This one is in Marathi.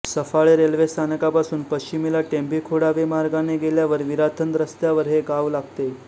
सफाळे रेल्वे स्थानकापासून पश्चिमेला टेंभीखोडावे मार्गाने गेल्यावर विराथन रस्त्यावर हे गाव लागते